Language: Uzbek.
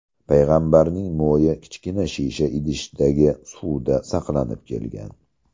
Payg‘ambarning mo‘yi kichkina shisha idishdagi suvda saqlanib kelgan.